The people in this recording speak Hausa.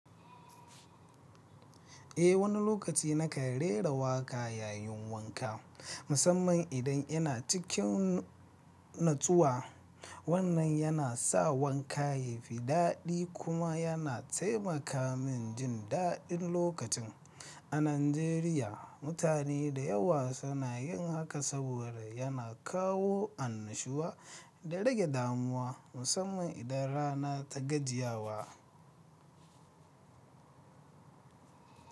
Eh, wani lokaci na kai rera waƙa yayin wanka, musamman idan yana cikin natsuwa. Wannan yana sa wanka ya fi daɗi kuma yana taimaka min jin daɗin lokacin. A Najeriya, mutane da yawa suna yin haka saboda yana kawo annashuwa da rage damuwa, musamman idan rana ta gajiya wa.